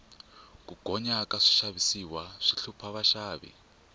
ku gonya ka swixavisiwa swi hlupha vaxavi